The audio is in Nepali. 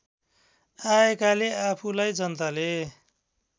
आएकाले आफूलाई जनताले